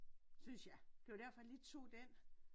Synes jeg. Det var derfor jeg lige tog den